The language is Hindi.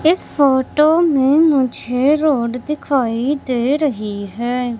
इस फोटो में मुझे रोड दिखाई दे रही है।